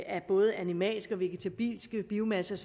af både animalske og vegetabilske biomasser